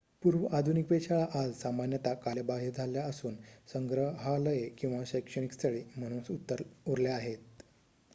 पूर्व-आधुनिक वेधशाळा आज सामान्यत कालबाह्य झाल्या असून संग्रहालये किंवा शैक्षणिक स्थळे म्हणून उरल्या आहेत